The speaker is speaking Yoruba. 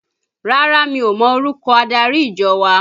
Rárá, mi ò mọ orúkọ adarí ìjọ wa